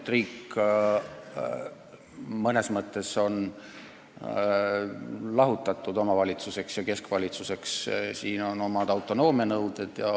Riik on mõnes mõttes jagatud omavalitsusteks ja keskvalitsuseks ning siin kehtivad omad autonoomia nõuded.